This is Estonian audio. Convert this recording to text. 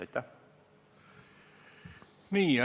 Nii.